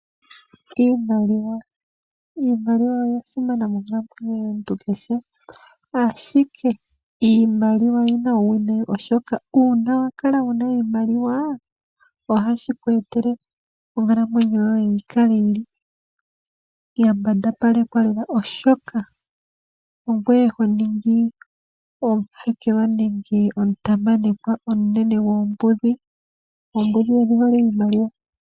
Iimaliwa, Iimaliwa oya simana monkalamwenyo yomuntu kehe, ashike iimaliwa oyina uuwinayi, oshoka uuna wa kala wuna iimaliwa ohashi ku etele onkalamwenyo yoye yi kale yili ya mbandapalekwa lela, oshoka ongoye ho ningi omufekelwa nenge omutamanekwa omunene gombudhi. Oombudhi odhi hole iimaliwa.